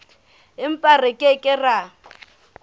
empa re ke ke ra